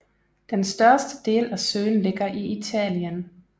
Den største del af søen ligger i Italien